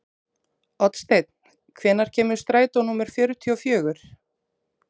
Oddsteinn, hvenær kemur strætó númer fjörutíu og fjögur?